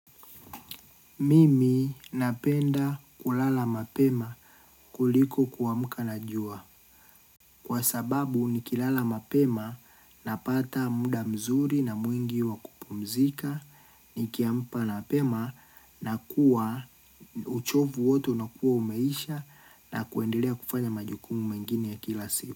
Mimi napenda kulala mapema kuliko kuamka na jua. Kwa sababu nikilala mapema napata muda mzuri na mwingi wa kupumzika, nikiamka mapema na kuwa uchovu wote unakuwa umeisha na kuendelea kufanya majukumu mengini ya kila siku.